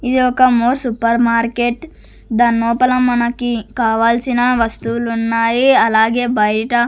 ఇది ఒక More supermarket దాన్ నోపల మనకి కావాల్సిన వస్తువులున్నాయి అలాగే బైట.